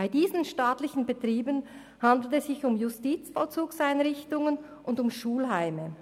Bei diesen staatlichen Betrieben handelt es sich um Justizvollzugseinrichtungen und Schulheime.